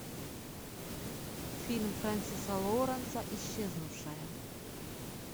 фильм френсиса лоуренса исчезнувшая